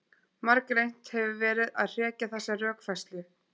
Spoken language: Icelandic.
Margreynt hefur verið að hrekja þessa rökfærslu.